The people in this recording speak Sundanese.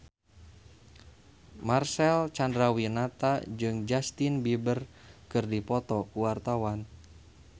Marcel Chandrawinata jeung Justin Beiber keur dipoto ku wartawan